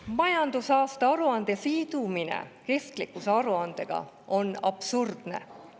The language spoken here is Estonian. Majandusaasta aruande sidumine kestlikkusaruandega on absurdne.